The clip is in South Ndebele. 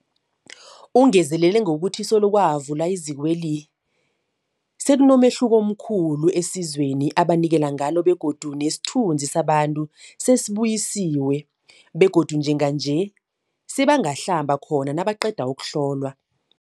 Ungezelele ngokuthi solo kwavulwa izikweli, sekunomehluko omkhulu esizweni ebanikelana ngalo begodu nesithunzi sabantu sesibuyisiwe begodu njenganje sebangahlamba khona nabaqeda ukuhlolwa.